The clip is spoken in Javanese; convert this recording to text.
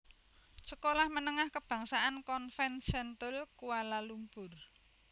Sekolah Menengah Kebangsaan Convent Sentul Kuala Lumpur